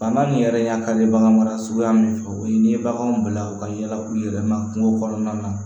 Bana min yɛrɛ ka di bagan mara suguya min fɛ o ye n'i ye baganw bila u ka yala u yɛrɛ ma kungo kɔnɔna na